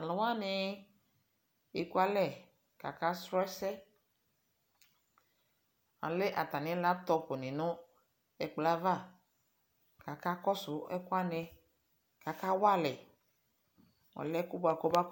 Talu wane eku alɛ kaka srɔ asɛAlɛ atane laptop ne ɛkolɔ ava kaka kɔso ɛki wane kaka wa alɛ, alɛ ko noako na